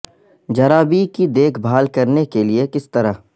جرابیں کی دیکھ بھال کرنے کے لئے کس طرح